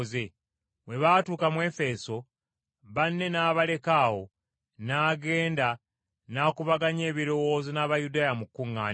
Bwe baatuuka mu Efeso, banne n’abaleka awo n’agenda n’akubaganya ebirowoozo n’Abayudaaya mu kkuŋŋaaniro.